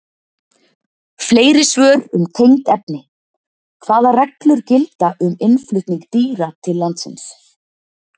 Fleiri svör um tengd efni: Hvaða reglur gilda um innflutning dýra til landsins?